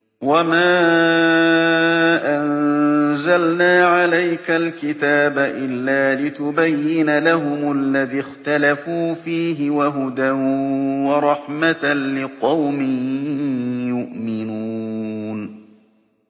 وَمَا أَنزَلْنَا عَلَيْكَ الْكِتَابَ إِلَّا لِتُبَيِّنَ لَهُمُ الَّذِي اخْتَلَفُوا فِيهِ ۙ وَهُدًى وَرَحْمَةً لِّقَوْمٍ يُؤْمِنُونَ